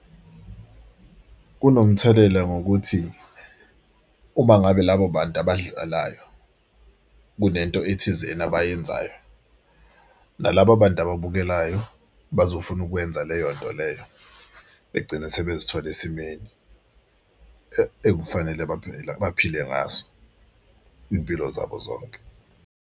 Kunomthelela ngokuthi uma ngabe labo bantu abadlalayo kunento ethizeni abayenzayo nalabo bantu ababukelayo bazofuna ukwenza leyo nto leyo. Begcine sebezithola esimeni ekufanele baphile ngaso iy'mpilo zabo zonke.